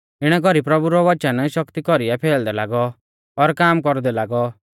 इणै कौरी प्रभु रौ वचन शक्ति कौरीऐ फैलदै लागौ और काम कौरदै लागौ